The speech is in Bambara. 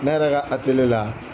Ne yɛrɛ ka la.